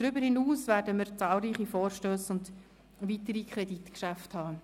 Darüber hinaus werden wir zahlreiche Vorstösse und weitere Kreditgeschäfte beraten.